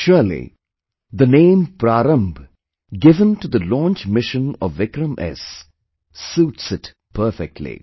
Surely, the name 'Prarambh' given to the launch mission of 'VikramS', suits it perfectly